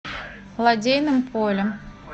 лодейным полем